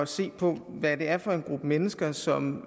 se på hvad det er for en gruppe mennesker som